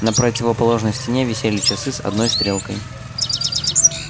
на противоположной стене висели часы с одной стрелкой